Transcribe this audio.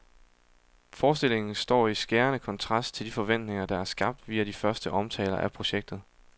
Forestillingen står i skærende kontrast til de forventninger, der er skabt via de første omtaler af projektet.